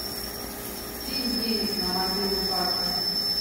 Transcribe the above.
кинь денег на мобилу папе